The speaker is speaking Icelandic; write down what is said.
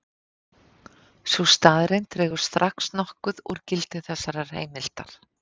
Sú staðreynd dregur strax nokkuð úr gildi þessarar heimildar.